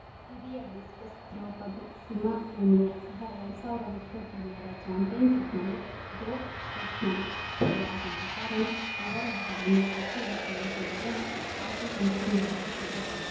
ಹಿರಿಯ discus throw ಪಟು ಸಿಮಾ ಪೂನಿಯಾ ಸಹ ಎರಡು ಸಾವಿರ ವಿಶ್ವ ಕಿರಿಯರ ಚಾಂಪಿಯನ್‌ಶಿಪ್‌ನಲ್ಲಿ ಡೋಪ್‌ ಟೆಸ್ಟ್‌ನಲ್ಲಿ ಫೇಲಾಗಿದ್ದ ಕಾರಣ ಅವರ ಹೆಸರನ್ನೂ ಪಟ್ಟಿಯಲ್ಲಿ ಸೇರಿಸದಿರಲು ಆಯ್ಕೆ ಸಮಿತಿ ನಿರ್ಧರಿಸಿತು